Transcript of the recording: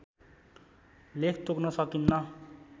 लेख तोक्न सकिन्न